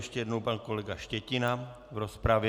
Ještě jednou pan kolega Štětina v rozpravě.